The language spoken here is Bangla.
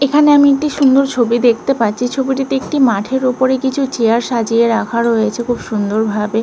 এইখানে আমি একটি সুন্দর ছবি দেখতে পাচ্ছি। ছবটিতে একটি মাঠের ওপরে কিছু চেয়ার সাজিয়ে রাখা রয়েছে খুব সুন্দরভাবে।